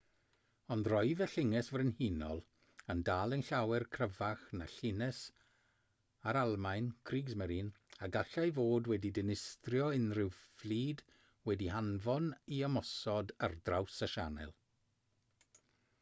ond roedd y llynges frenhinol yn dal yn llawer cryfach na llynges yr almaen kriegsmarine a gallai fod wedi dinistrio unrhyw fflyd wedi'i hanfon i ymosod ar draws y sianel